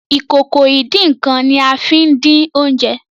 Ìkòkò ìdín-nǹkan ní a fín dín oúnjẹ